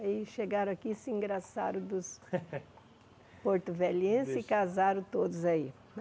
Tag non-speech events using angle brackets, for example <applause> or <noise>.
Aí chegaram aqui, se engraçaram dos <laughs> porto-velhenses e casaram todos aí.